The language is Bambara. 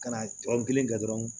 Ka na tɔrɔ kelen kɛ dɔrɔn